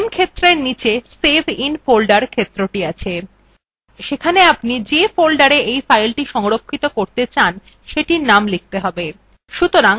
name ক্ষেত্রের নীচে save in folder ক্ষেত্রটি আছে সেখানে আপনি যে folder file সংরক্ষিত করতে চান সেটির name লিখতে have